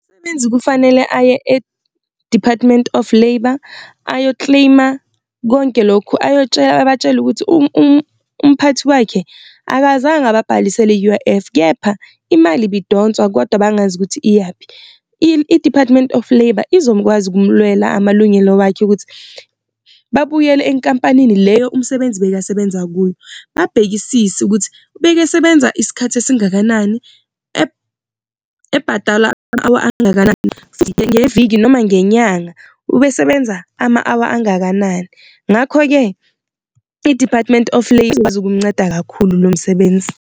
Umsebenzi kufanele aye e-Department of Labour ayo-claim-a konke lokhu abatshele ukuthi umphathi wakhe akazange ababhalisele i-U_I_F kepha imali ibidonswa kodwa bangazi ukuthi iyaphi. I-Department of Labour ukumulwela amalungelo wakhe ukuthi babuyele enkampanini leyo umsebenzi bekasebenza kuyo, babhekisise ukuthi bekesebenza isikhathi esingakanani, ebhadalwa ama-hour angakanani. Ngeviki neviki noma ngenyanga ubesebenza ama-hour angakanani, ngakho-ke i-Department of Labour ukumnceda kakhulu lo msebenzi.